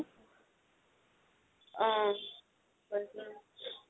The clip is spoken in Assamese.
অহ